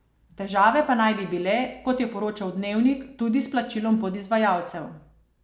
Težave pa naj bi bile, kot je poročal Dnevnik, tudi s plačilom podizvajalcev.